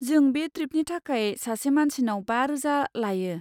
जों बे ट्रिपनि थाखाय सासे मानसिनाव बा रोजा लायो।